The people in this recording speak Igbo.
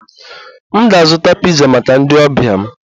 M ga-azụta piza maka ndi ọbia m